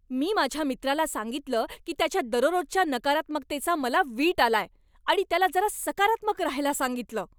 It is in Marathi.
मी माझ्या मित्राला सांगितलं की त्याच्या दररोजच्या नकारात्मकतेचा मला वीट आलाय आणि त्याला जरा सकारात्मक रहायला सांगितलं.